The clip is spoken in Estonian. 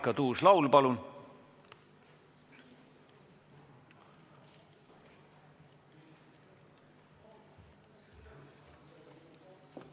Marika Tuus-Laul, palun!